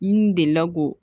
N delila k'o